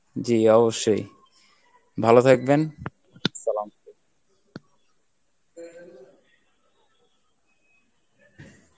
জী অবশ্যই ভালো থাকবেন Arbi